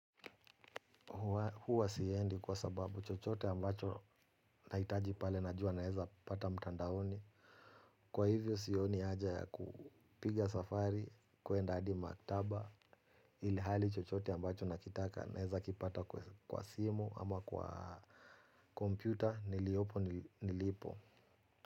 Huwa siendi kwa sababu chochote ambacho. Nahitaji pale najua naweza, pata mtandaoni. Kwa hivyo sioni haja ya kupiga safari, kuenda hadi maktaba, ilihali chochote ambacho nakitaka naeza kipata, kwa simu ama kwa kompyuta. Niliopo nilipo.